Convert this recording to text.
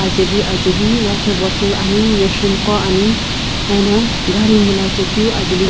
ajaeli ajaeli water bottle ane machine gho ani ano gari miila chaekeu ajae --